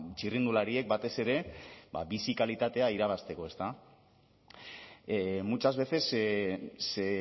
txirrindulariek batez ere bizi kalitatea irabazteko muchas veces se